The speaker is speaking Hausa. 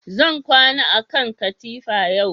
Zan kwana a kan katifa yau